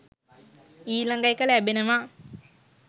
ඊළඟ එක ලැබෙනවා